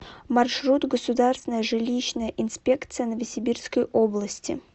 маршрут государственная жилищная инспекция новосибирской области